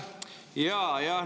Aitäh!